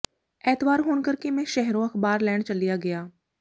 ਐਤਵਾਰ ਹੋਣ ਕਰਕੇ ਮੈਂ ਸ਼ਹਿਰੋਂ ਅਖ਼ਬਾਰ ਲੈਣ ਚਲਿਆ ਗਿਆ